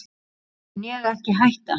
mun ég ekki hætta?